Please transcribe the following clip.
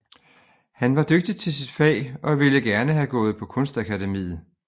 Han var dygtig til sit fag og ville gerne have gået på kunstakademiet